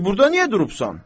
Dey burda niyə durubsan?